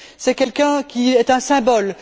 C'est quelqu'un qui est un symbole.